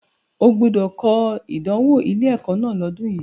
O gbúdọ̀ kọ ìdánwò ilé-ẹ̀kọ́ náà lọ́dùn yi!